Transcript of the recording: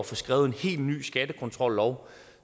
få skrevet en helt ny skattekontrollov